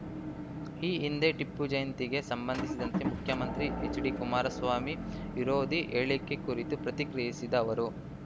ಈ ಹಿಂದೆ ಟಿಪ್ಪು ಜಯಂತಿಗೆ ಸಂಬಂಧಿಸಿದಂತೆ ಮುಖ್ಯಮಂತ್ರಿ ಎಚ್‌ಡಿಕುಮಾರಸ್ವಾಮಿ ವಿರೋಧಿ ಹೇಳಿಕೆ ಕುರಿತು ಪ್ರತಿಕ್ರಿಯಿಸಿದ ಅವರು